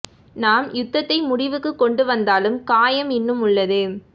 நாம் யுத்தத்தை முடிவுக்குக் கொண்டு வந்தாலும் காயம் இன்னும் உள்ளது